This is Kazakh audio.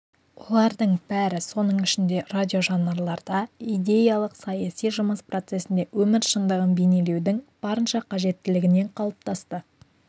олардың бәрі соның ішінде радиожанрларда идеялық-саяси жұмыс процесінде өмір шындығын бейнелеудің барынша қажеттілігінен қалыптасты